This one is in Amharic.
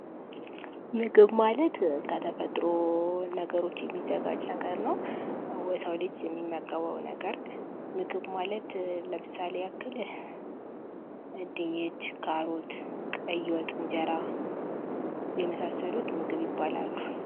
ምግብ ማለት ከተፈጥሮ ነገሮች የሚዘጋጅ ነገር ነው። የሰው ልጅ የሚመገበው ነገር፣ ምግብ ማለት ለምሳሌ ያክል ድንች፣ ካሮት ፣ቀይ ወጥ፣ እንጀራ የመሳሰሉት ምግብ ይባላሉ።